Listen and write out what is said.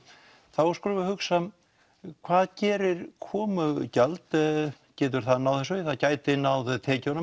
þá skulum við hugsa hvað gerir komugjald getur það náð þessu það getur náð tekjunum